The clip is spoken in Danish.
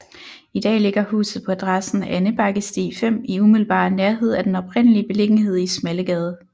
I dag ligger huset på adressen Andebakkesti 5 i umiddelbar nærhed af den oprindelige beliggenhed i Smallegade